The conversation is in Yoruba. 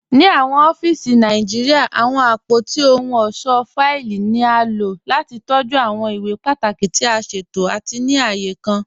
Ní awọn ọ̀fíìsì Nàìjíríà, awọn apótí òhùn ọṣọ́ fáìlì ni a ló láti tọjú awọn ìwé pátàkí tì a ṣẹtò àti ní ààyè kàn.